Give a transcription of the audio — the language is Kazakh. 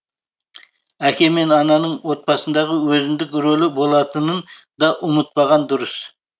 әке мен ананың отбасындағы өзіндік рөлі болатынын да ұмытпаған дұрыс